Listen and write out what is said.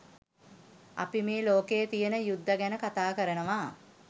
අපි මේ ලෝකයේ තියෙන යුද්ධ ගැන කතා කරනවා.